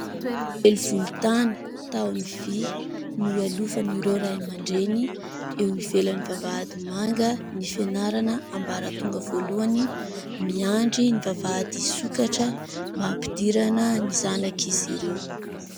Elo volontany, tahony vy no ialofan'ireo Ray aman-dreny eo ivelan'ny vavahady mangan'ny fianarana ambaratonga voalohany. Miandry ny vavahady hisokatra mba hampidirana ny zanak'izy ireo.